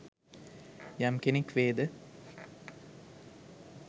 යම් කෙනෙක් වේද